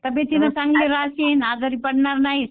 तब्बेतीनं चांगलं राहशील आजारी पडणार नाही